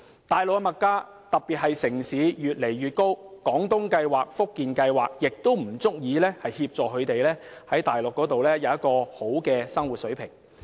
大陸的物價越來越高，在城市尤甚，廣東計劃及福建計劃均不足以讓長者在大陸享受良好的生活水平。